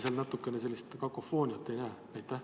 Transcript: Kas te natukene sellist kakofooniat ei näe?